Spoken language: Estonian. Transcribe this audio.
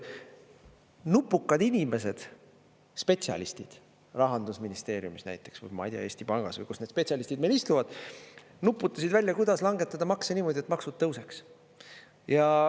Nupukad inimesed, spetsialistid, Rahandusministeeriumis näiteks, ma ei tea, Eesti Pangas või kus need spetsialistid meil istuvad, nuputasid välja, kuidas langetada makse niimoodi, et maksud tõuseks.